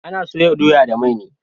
Ana soya doya da mai ne